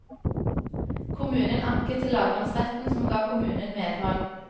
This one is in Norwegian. Kommunen anket til lagmannsretten, som ga kommunen medhold.